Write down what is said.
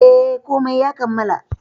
Eh, komai ya kammala.